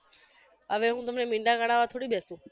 અરે હું તમને મીંડા ગણાવવા થોડી બેસુ